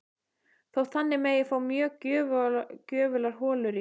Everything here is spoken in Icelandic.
Þótt þannig megi fá mjög gjöfular holur í